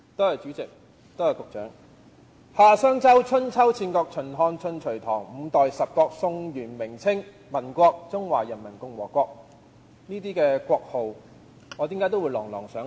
夏、商、周、春秋、戰國、秦、漢、晉、隋、唐、五代十國、宋、元、明、清、民國、中華人民共和國，為何我能夠把這些國號念得朗朗上口？